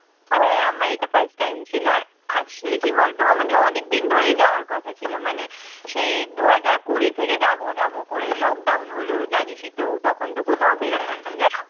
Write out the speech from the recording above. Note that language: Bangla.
হ্যাঁ, আমার first time এটা ছিল। আর আসলে কি বলতো আমাদের অনেকদিন ধরেই যাওয়ার কথা ছিল, মানে সেই দু হাজার কুড়ি থেকে যাবো যাবো করে lockdown হলো জানিসই তো তখনতো কোথাও বের হওয়া যায় না।